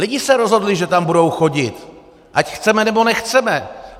Lidé se rozhodli, že tam budou chodit, ať chceme, nebo nechceme.